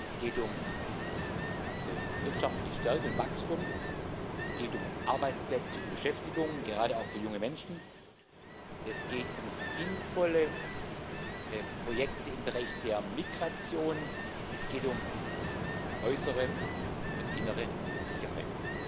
Es geht um wirtschaftliche Stärke und Wachstum, es geht um Arbeitsplätze und Beschäftigung, gerade auch für junge Menschen, es geht um sinnvolle Projekte im Bereich der Migration, es geht um äußere und innere Sicherheit.